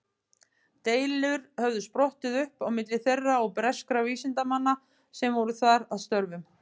Deilur höfðu sprottið upp á milli þeirra og breskra vísindamanna sem voru þar að störfum.